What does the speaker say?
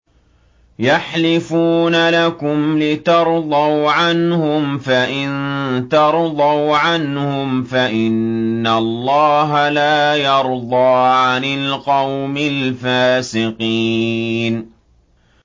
يَحْلِفُونَ لَكُمْ لِتَرْضَوْا عَنْهُمْ ۖ فَإِن تَرْضَوْا عَنْهُمْ فَإِنَّ اللَّهَ لَا يَرْضَىٰ عَنِ الْقَوْمِ الْفَاسِقِينَ